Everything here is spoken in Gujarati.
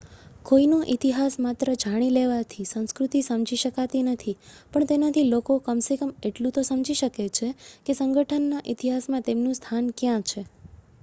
કોઈનો ઇતિહાસ માત્ર જાણી લેવાથી સંસ્કૃતિ સમજી શકાતી નથી પણ તેનાથી લોકો કમ સે કમ એટલું તો સમજી શકે છે કે સંગઠનના ઇતિહાસમાં તેમનું સ્થાન ક્યાં છે